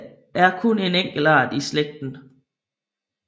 Der er kun en enkelt art i slægten